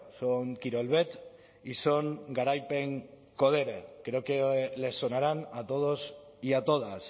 son kirolbet y son garaipen codere creo que les sonarán a todos y a todas